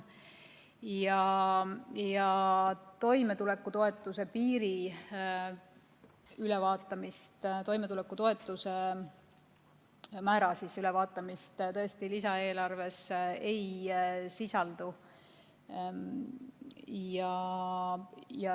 Toimetulekutoetuse määra ülevaatamist tõesti lisaeelarves ei sisaldu.